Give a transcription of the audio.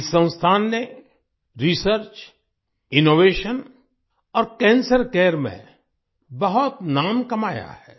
इस संस्थान ने रिसर्च इनोवेशन और कैंसर केयर में बहुत नाम कमाया है